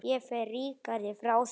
Ég fer ríkari frá þeim.